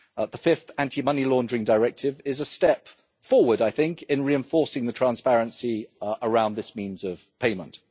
The Fifth Anti Money Laundering Directive is a step forward, I think, in reinforcing the transparency around this means of payment.